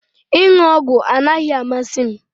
Ịṅụ ọgwụ anaghị amasị m